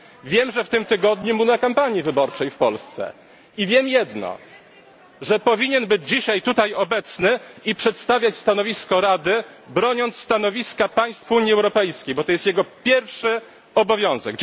Wiem, że w tym tygodniu był na kampanii wyborczej w Polsce, i wiem jedno, że powinien być dzisiaj tutaj obecny i przedstawiać stanowisko Rady, broniąc stanowiska państw Unii Europejskiej, bo to jest jego pierwszy obowiązek!